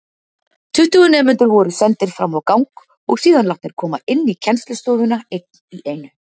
Tuttugu nemendur voru sendir framá gang og síðan látnir koma inní kennslustofuna einn í einu.